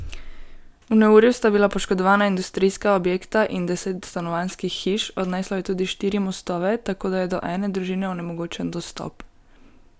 V neurju sta bila poškodovana industrijska objekta in deset stanovanjskih hiš, odneslo je tudi štiri mostove, tako da je do ene družine onemogočen dostop.